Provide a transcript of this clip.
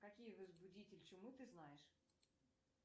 какие возбудитель чумы ты знаешь